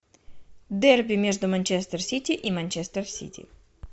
дерби между манчестер сити и манчестер сити